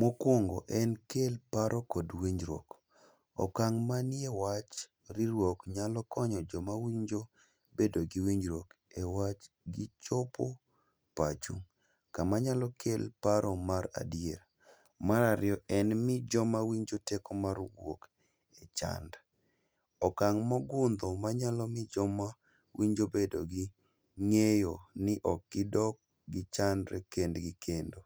Mokwongo en kel paro kod winjruok, okang' manie wach riruok nyalo konyo joma winjo bedo gi winjruok e wach gi chopo pacho, kamanyalo kel paro mar adier. Marariyo en mi joma winjo teko mar wuok e chand, okang' mogundho manyalo mi joma winjo bedo gi ng'eyo ni ok gidog gichandre kendgi kendo.